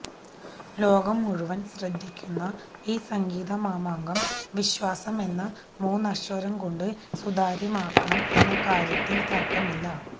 ലോകം മുഴുവന് ശ്രദ്ധിക്കുന്ന ഈ സംഗീത മാമാങ്കം വിശ്വാസം എന്ന മൂന്നക്ഷരം കൊണ്ട് സുതാര്യമാക്കണം എന്ന കാര്യത്തില് തര്ക്കമില്ല